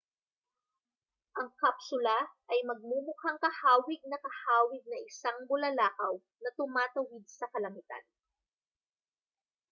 ang kapsula ay magmumukhang kahawig na kahawig ng isang bulalakaw na tumatawid sa kalangitan